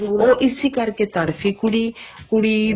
ਉਹ ਇਸੀ ਕਰਕੇ ਤੜਫ਼ੀ ਕੁੜੀ ਕੁੜੀ